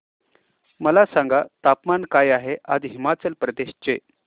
मला सांगा तापमान काय आहे आज हिमाचल प्रदेश चे